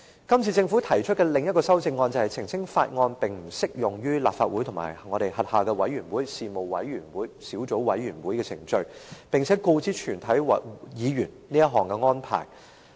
今次政府提出的另一項修正案，澄清《條例草案》並不適用於立法會及其轄下的委員會、事務委員會及小組委員會的程序，並且告知全體議員這項安排。